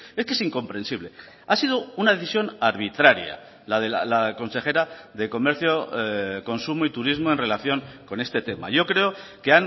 es que es incomprensible ha sido una decisión arbitraria la de la consejera de comercio consumo y turismo en relación con este tema yo creo que